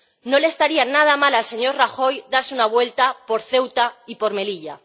No le estaría nada mal al señor Rajoy darse una vuelta por Ceuta y por Melilla.